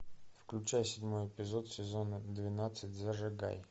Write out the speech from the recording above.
включай седьмой эпизод сезона двенадцать зажигай